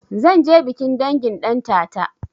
Zanje bikin dangin ɗantata